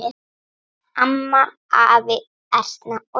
Amma, afi, Erna og Steini.